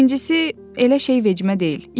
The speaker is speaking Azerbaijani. Birincisi, elə şey vecimə deyil.